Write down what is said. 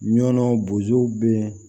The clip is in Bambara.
Ɲɔnɔ bozow be